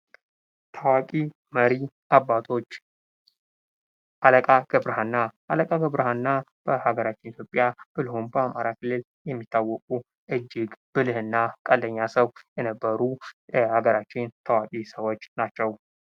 ታዋቂ መሪ አባቶች አለቃ ገብረ ሀና አለቃ ገብረ ሀና በሀገራችን ኢትዮጵያ ብሎም በአማራ ክልል የሚታወቁ እጅግ ብልህ እና ቀልደኛ ሰው የነበሩ የሀገራችን ታዋቂ ሰዎች ናቸው።